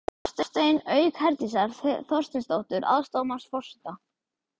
Hafstein, auk Herdísar Þorsteinsdóttur, aðstoðarmanns forseta.